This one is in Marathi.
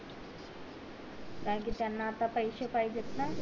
कारण कि त्याना आता पैशे पाहिजे ना